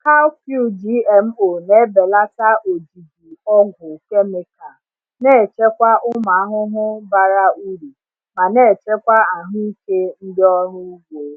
Cowpea GMO na-ebelata ojiji ọgwụ kemikal, na-echekwa ụmụ ahụhụ bara uru ma na-echekwa ahụike ndị ọrụ ugbo.